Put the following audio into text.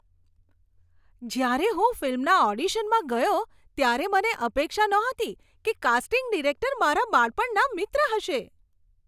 જ્યારે હું ફિલ્મના ઓડિશનમાં ગયો ત્યારે મને અપેક્ષા નહોતી કે કાસ્ટિંગ ડિરેક્ટર મારા બાળપણના મિત્ર હશે.